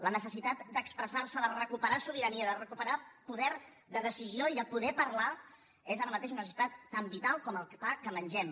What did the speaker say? la necessitat d’expressarse de recuperar sobirania de recuperar poder de decisió i de poder parlar és ara mateix una necessitat tan vital com el pa que mengem